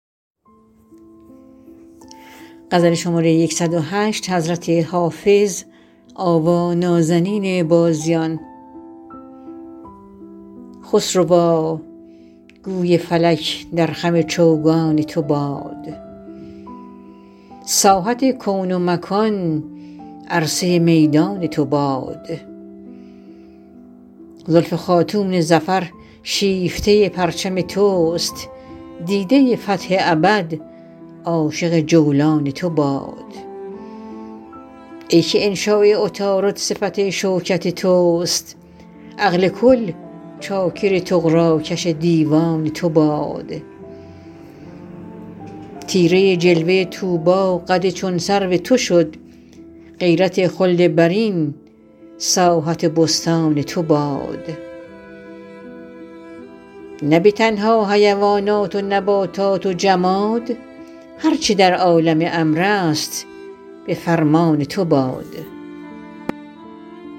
خسروا گوی فلک در خم چوگان تو باد ساحت کون و مکان عرصه میدان تو باد زلف خاتون ظفر شیفته پرچم توست دیده فتح ابد عاشق جولان تو باد ای که انشاء عطارد صفت شوکت توست عقل کل چاکر طغراکش دیوان تو باد طیره جلوه طوبی قد چون سرو تو شد غیرت خلد برین ساحت بستان تو باد نه به تنها حیوانات و نباتات و جماد هر چه در عالم امر است به فرمان تو باد